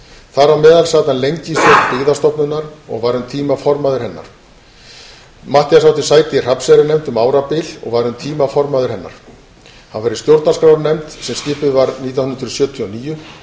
þar á meðal sat hann lengi í stjórn byggðastofnunar og var um tíma formaður hennar matthías átti sæti í hrafnseyrarnefnd um árabil og var um tíma formaður hennar hann var í stjórnarskrárnefnd sem skipuð var nítján hundruð sjötíu og níu